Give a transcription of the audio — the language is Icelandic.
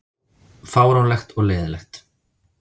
Fáránlegt og leiðinlegt